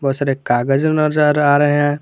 सारे कागज नजर आ रहे हैं।